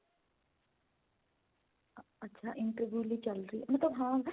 ਅੱਛਾ interview ਲਈ ਚੱਲ ਰਹੀ ਹੈ ਮਤਲਬ ਹਾਂ.